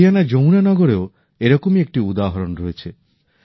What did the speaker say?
হরিয়ানার যমুনা নগরেও এরকমই একটি উদাহরণ রয়েছে